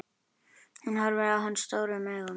Hún horfir á hann stórum augum.